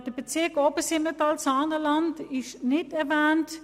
Der Bezirk Obersimmental-Saanenland wurde nicht erwähnt.